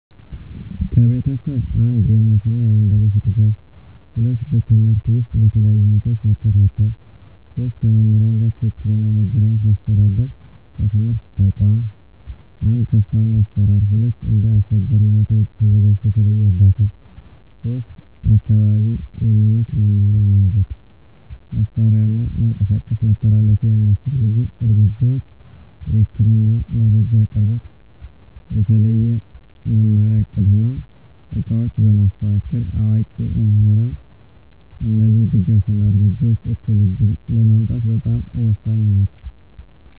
ከቤተሰብ፦ 1. የእምነት እና የአንደበት ድጋፍ 2. በትምህርት ውስጥ በተለያዩ ሁኔታዎች መከታተል 3. ከመምህራን ጋር ትክክለኛ መገናኘት ማስተዳደር ከትምህርት ተቋም፦ 1. ተስማሚ አሰራር 2. እንደ አስቸጋሪ ሁኔታ ተዘጋጅቶ የተለየ እርዳታ 3. አካባቢ የሚመች መማሪያ መንገድ፣ መሳሪያ እና መንቀሳቀስ መተላለፊያ የሚያስፈልጉ እርምጃዎች፦ የህክምና መረጃ አቅርቦት፣ የተለየ መማሪያ እቅድ እና ዕቃዎች በማስተካከል፣ አዋቂ ምሁራን እነዚህ ድጋፍ እና እርምጃዎች እኩል ዕድል ለማምጣት በጣም ወሳኝ ናቸው።